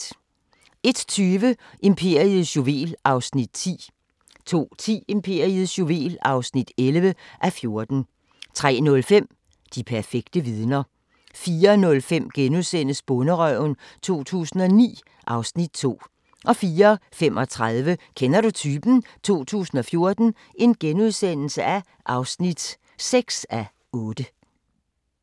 01:20: Imperiets juvel (10:14) 02:10: Imperiets juvel (11:14) 03:05: De perfekte vidner 04:05: Bonderøven 2009 (Afs. 2)* 04:35: Kender du typen? 2014 (6:8)*